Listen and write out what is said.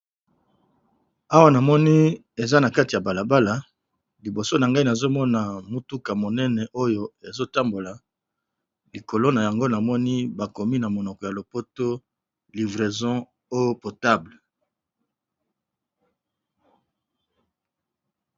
Awa na moni eza na kati ya balabala liboso na ngai, nazo mona motuka monene oyo ezo tambola likolo na yango na moni, bakomi na monoko ya lopoto livraison eau potable .